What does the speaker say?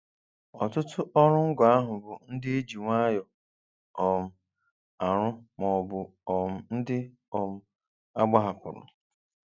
Ọtụtụ ọrụ ngo ahụ bụ ndị e ji nwayọọ um arụ maọbụ um ndị um agbahapụrụ.